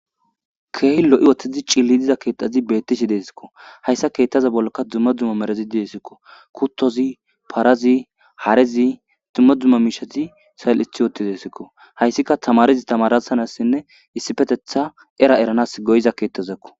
keey lo7i woththezi cilli diza keexazi bettishi deesikko hayssa keettaza bollka dumma dzumma merazidi desikko kuttozi parazi haarezi dumma dzumma miishazi sal7ith ootidesikko hayssika tamarezi tamarasanassinne issifetetha era eranas goyiza keettazakko